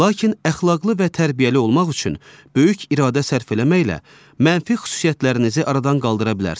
Lakin əxlaqlı və tərbiyəli olmaq üçün böyük iradə sərf eləməklə mənfi xüsusiyyətlərinizi aradan qaldıra bilərsiz.